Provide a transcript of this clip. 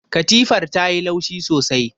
Katifar ta yi laushi sosai.